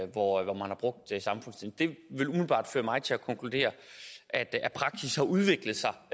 hvor man har brugt samfundstjeneste det vil umiddelbart føre mig til at konkludere at at praksis har udviklet sig